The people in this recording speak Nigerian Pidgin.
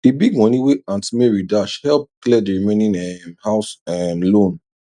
the big money wey aunt mary dash help clear the remaining um house um loan